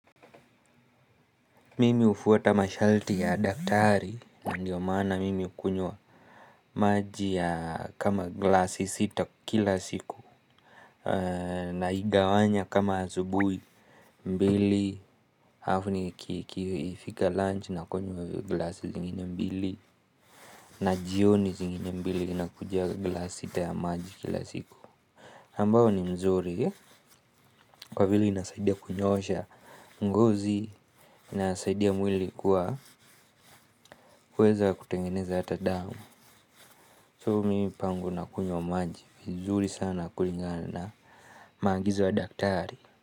Mimi ufuata mashalti ya daktari. Ndiyo maana mimi ukunywa maji ya kama glasi sita kila siku. Naigawanya kama azubui mbili alafu ikifika lunch nakunywa glass zingine mbili. Na jioni zingine mbili na kuja glasi sita ya maji kila siku ambayo ni mzuri kwa vile inasaidia kunyoosha ngozi. Nasaidia mwili kuwa uweza kutengeneza ata dao. Tumi pangu na kunywa maji, vizuri sana kulingana na maagizo wa daktari.